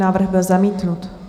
Návrh byl zamítnut.